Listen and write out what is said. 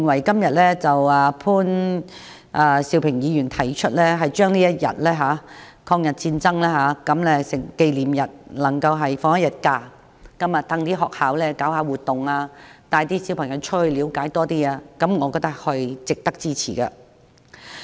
所以，潘兆平議員今天提出就抗日戰爭勝利紀念日放假一天，讓學校舉辦活動，帶小朋友到外面了解多一點，我覺得是值得支持的。